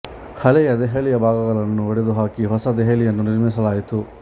ಹಳೆಯ ದೆಹಲಿಯ ಭಾಗಗಳನ್ನು ಒಡೆದು ಹಾಕಿ ಹೊಸ ದೆಹಲಿ ಯನ್ನು ನಿರ್ಮಿಸಲಾಯಿತು